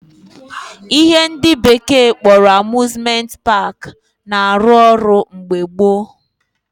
Ihe ndị bekee kpọrọ Amuzmenti paakị na arụ ọrụ mgbe gboo